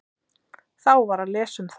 Þá var að lesa um það.